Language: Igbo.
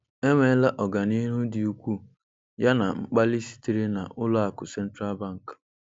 Enweela ọganihu dị ukwuu, yana mkpali sitere na Ụlọ akụ Central Bank.